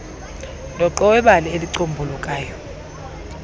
dooqo webali elicombulukayo